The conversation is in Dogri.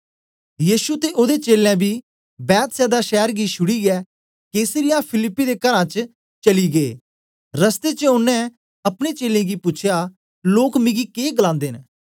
यीशु ते ओदे चेलें बी बेतसैदा शैर गी शुडीये कैसरिया फिलिप्पी दे घरां च चली गै रस्ते च ओनें अपने चेलें गी पूछया लोक मिगी के गलांदे न